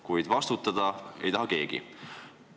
Kuid vastutada ei taha keegi.